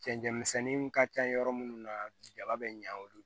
Cɛncɛnmisɛnninw ka ca yɔrɔ minnu na jaba bɛ ɲa olu bolo